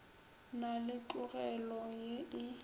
na le tlogelo ye e